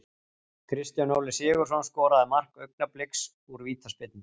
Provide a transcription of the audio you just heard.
Kristján Óli Sigurðsson skoraði mark Augnabliks úr vítaspyrnu.